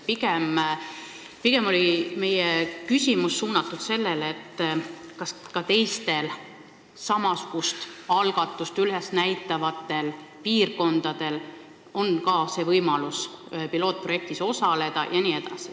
Pigem soovisime teada saada, kas ka teistel samasugust algatust üles näitavatel piirkondadel on võimalus pilootprojektis osaleda.